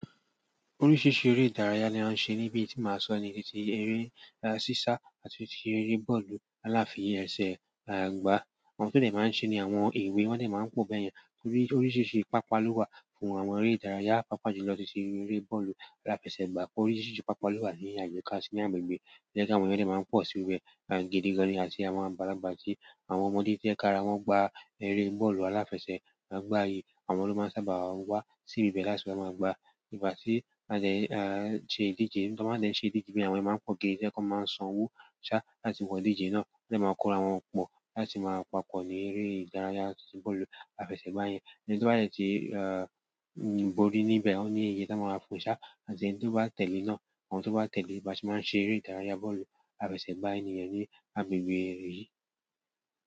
Oríṣiríṣi eré ìdárayá ni a ń ṣe níbi tí màá sọ ní ti eré sísa àti tii eré bọ́ọ̀lù aláfì ẹ̀sẹ̀ gbà. Àwọn tó de máa ń ṣe ni àwọn èwe wọ́n de máa ń pòó bẹ́yẹn torí oríṣiríṣi pàápàá ló wà fún àwọn eré ìdárayá. Pàápàá jù lọ titi eré bọ́ọ̀lù aláfẹ̀sẹ̀gbà. Oríṣiríṣi pàápàá ló wà ní àyíká sínú bi to je àwọn ènìyàn de máa ń pọ̀ sí orí ẹ̀ gidi gan-ni àti àwọn àgbàlagbà atí àwọn ọmọdé tí o je kí ara wọn gba eré bọ́ọ̀lù aláfẹ̀sẹ̀ gbà yìí àwọn ló máa ń sábà wa sí ibi bẹ́ẹ̀ láti wa máa gba, ìgbá tí won ṣe ìdíje. Tí wọ́n bá de n ṣe ìdíje be yen àwọn ènìyàn máa ń pọ̀ gé, tí wọ́n máa ń san owó ṣá láti wo ìdíje náà, wọ́n de máa kó ara wọn pọ̀ láti máa pàpọ̀ ní eré ìdárayá titi bọ́ọ̀lù aláfẹ̀sẹ̀ gbà yẹn. Ẹni tó bá dẹ tì ìborí níbẹ̀ ó ní iye tí wọ́n máa ń fún ṣá àti ẹniti o bá tẹ̀le náà. Àwọn tó bá tẹ̀le bá se máa ń ṣe eré ìdárayá bọ́ọ̀lù aláfẹ́se gbà yìí ní agbègbè eré yìí.